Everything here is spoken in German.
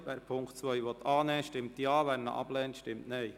Wer den Punkt 2 annehmen will, stimmt Ja, wer diesen ablehnt, stimmt Nein.